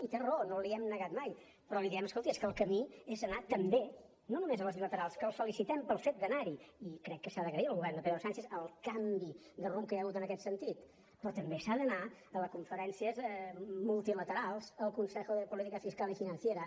i té raó no l’hi hem negat mai però li diem escolti és que el camí és anar també no només a les bilaterals que el felicitem pel fet d’anar hi i crec que s’ha d’agrair al govern de pedro sánchez el canvi de rumb que hi ha hagut en aquest sentit però també s’ha d’anar a les conferències multilaterals al consejo de política fiscal y financiera